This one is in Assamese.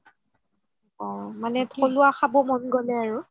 অহ থলুৱা খাব মন গ'লে আৰু